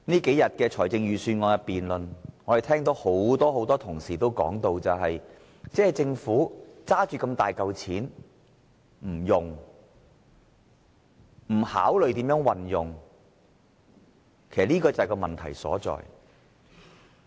這數天的預算案辯論，我們聽到很多同事說，政府有大筆盈餘不用，這就是問題所在。